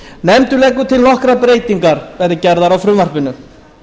nefndin leggur til að nokkrar breytingar verði gerðar á frumvarpinu